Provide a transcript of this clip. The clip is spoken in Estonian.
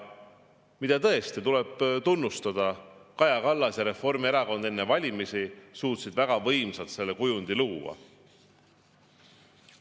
Tuleb tõesti tunnustada Kaja Kallast ja Reformierakonda selle eest, et nad enne valimisi suutsid väga võimsalt sellise luua.